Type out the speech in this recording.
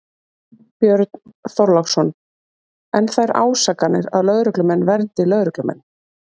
Björn Þorláksson: En þær ásakanir að lögreglumenn verndi lögreglumenn?